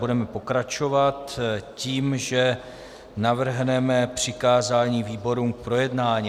Budeme pokračovat tím, že navrhneme přikázání výborům k projednání.